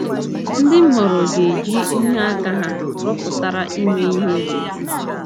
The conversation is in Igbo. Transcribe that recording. Ndị m họọrọ ga - eji ihe aka ha rụpụtara mee ihe n’uju. ”